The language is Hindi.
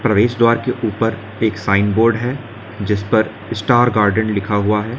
और इस द्वार के ऊपर एक साइन बोर्ड है जिस पर स्टार गार्डन लिखा हुआ है।